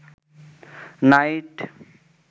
night